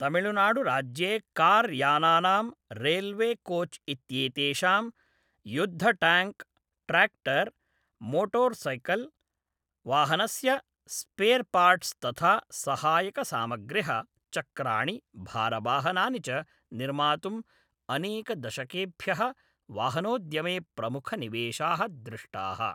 तमिल्नाडुराज्ये कार्यानानां, रैल्वेकोच् इत्येतेषां, युद्धटाङ्क्, ट्रैक्टर्, मोटर्सैकल्, वाहनस्य स्पेर्पार्ट्स् तथा सहायकसामग्र्यः, चक्राणि, भारवाहनानि च निर्मातुम् अनेकदशकेभ्यः वाहनोद्यमे प्रमुखनिवेशाः दृष्टाः।